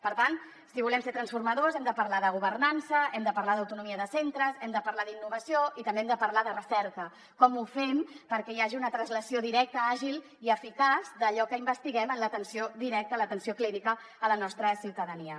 per tant si volem ser transformadors hem de parlar de governança hem de parlar d’autonomia de centres hem de parlar d’innovació i també hem de parlar de recerca com ho fem perquè hi hagi una translació directa àgil i eficaç d’allò que investiguem en l’atenció directa l’atenció clínica a la nostra ciutadania